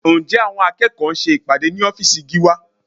Ǹjẹ́ àwọn akẹ́kọ̀ọ́ ń ṣe ìpàdé ní ọ́fíìsì Gíwá?